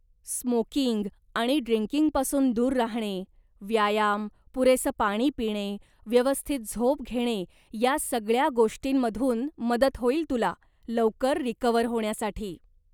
Smoking आणि ड्रिंकिंगपासून दूर राहणे, व्यायाम, पुरेसं पाणी पिणे, व्यवस्थित झोप घेणे या सगळ्या गोष्टींमधून मदत होईल तुला, लवकर रिकव्हर होण्यासाठी.